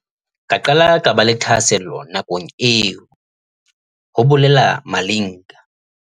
"Ka qala ka ba le thahasello nakong eo," ho bolela Malinga.